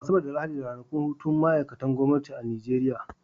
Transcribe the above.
Asabar da Lahadi ranakun hutun ma'aikatan gwamnati ne a Nigeria.